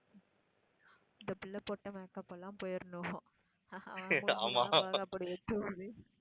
இந்தப் பிள்ளை போட்ட makeup எல்லாம் போயிடணும்